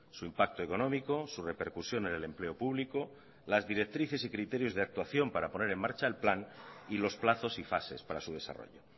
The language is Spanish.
su impacto económico su repercusión en el empleo público las directrices y criterios de actuación para poner en marcha el plan y los plazos y fases para su desarrollo